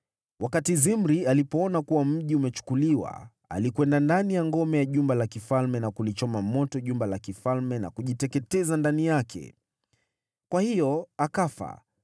Wakati Zimri alipoona kuwa mji umechukuliwa, alikwenda ndani ya ngome ya jumba la kifalme na kulichoma moto jumba la kifalme na kujiteketeza ndani yake. Kwa hiyo akafa,